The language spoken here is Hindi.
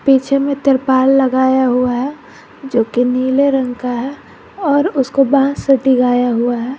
पीछे में तिरपाल लगाया हुआ है जो की नीले रंग का है और उसको बांस से टिकाया गया हुआ है।